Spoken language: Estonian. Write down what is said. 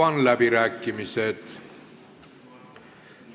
Avan läbirääkimised.